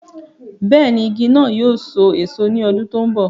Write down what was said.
bẹ́ẹ̀ni, igi náà yóò so èso ní ọdún tó ń bọ̀